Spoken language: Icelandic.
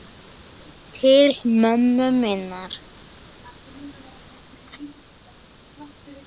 Til ömmu minnar.